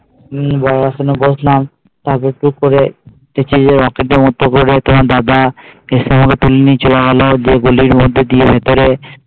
হম বর আসনে বসলাম তারপর টুক করে দাদা শেষে আমাকে তুলে নিয়ে চলে গেল গলির মধ্যে দিয়ে ভিতরে